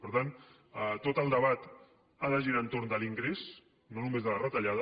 per tant tot el debat ha de girar entorn de l’ingrés no només de la retallada